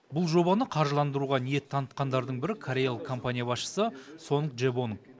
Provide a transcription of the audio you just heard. бұл жобаны қаржыландыруға ниет танытқандардың бірі кореялық компания басшысы сонг джебонг